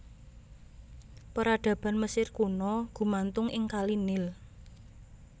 Peradaban Mesir Kuna gumantung ing kali Nil